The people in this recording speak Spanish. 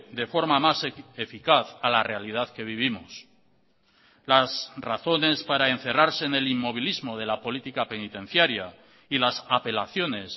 de forma más eficaz a la realidad que vivimos las razones para encerrarse en el inmovilismo de la política penitenciaria y las apelaciones